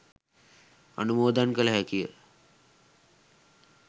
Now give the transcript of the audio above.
අනුමෝදන් කළ හැකි ය.